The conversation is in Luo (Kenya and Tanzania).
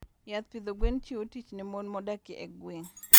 Yath pidho gwen chiwo tich ne mon modak e gwenge.